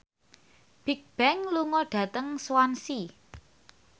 Bigbang lunga dhateng Swansea